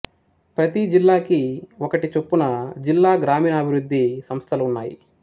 ప్రతి జిల్లాకి ఒకటి చొప్పున జిల్లా గ్రామీణాభివృద్ధి సంస్థలు ఉన్నాయి